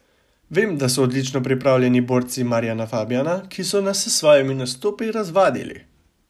Vem, da so odlično pripravljeni borci Marjana Fabjana, ki so nas s svojimi nastopi razvadili.